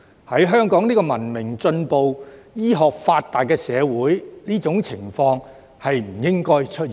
在香港這個文明進步、醫學發達的社會，這種情況不應該出現。